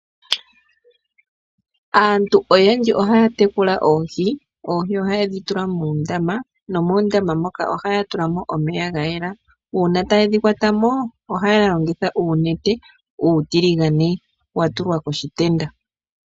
Aantu oyendji ohaya tekula oohi. Oohi ohayedhi tula muundama, nomoondama moka ohaya tulamo omeya gayela. uuna taye dhikwatamo ohaya longitha uunete uutiligane watulwa koshitenda.